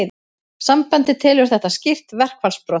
Sambandið telur þetta skýr verkfallsbrot